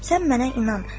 Sən mənə inan.